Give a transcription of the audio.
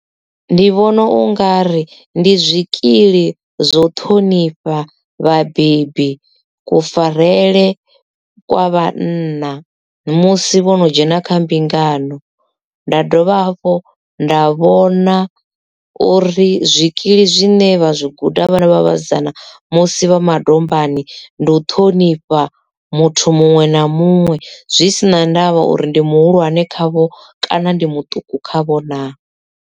Ndi vhona ungari ndi zwikili zwo ṱhonifha vhabebi kufarele kwa vhanna musi vhono dzhena kha mbingano, dovha hafhu nda vhona uri zwikili zwine vha zwi guda vhana vha vhasidzana musi vha madombani ndi u ṱhonifha muthu muṅwe na muṅwe zwi sina ndavha uri ndi muhulwane khavho kana ndi muṱuku khavho naa.